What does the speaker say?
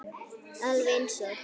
Alveg eins og